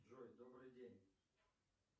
джой добрый день